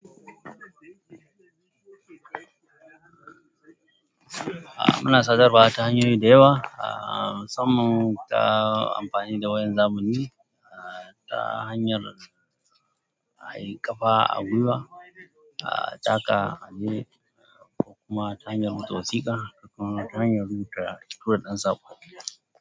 Muna son rabawa ta hanyoyi da yawa ahh musamman ta amfani da wayan zamani ta hanyan ai ƙafa a gwiwa ah taka aje da kuma tura wasiƙa da kuma hanyan rubuta ko tura ɗan saƙo.